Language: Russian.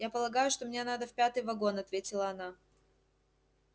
я полагаю что мне надо в пятый вагон ответила она